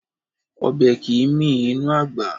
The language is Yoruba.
Ọbẹ̀ kìí mì inú àgbà